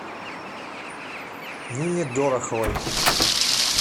нине дороховой